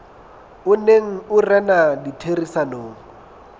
o neng o rena ditherisanong